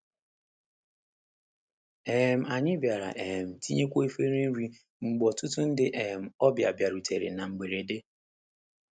um Anyị bịara um tinyekwuo efere nri mgbe ọtụtụ ndị um ọbịa bịarutere na mberede.